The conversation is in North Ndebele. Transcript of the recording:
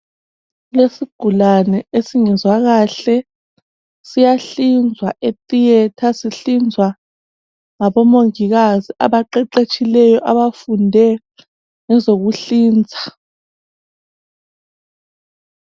Isigulane esingezwakahle siyahlinzwa ethiyetha sihlinzwa ngabomongikazi abaqeqethsheyo abafunde ngezokuhlinza.